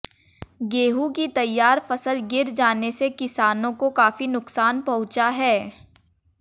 गेहूं की तैयार फसल गिर जाने से किसानों को काफी नुकसान पहुंचा है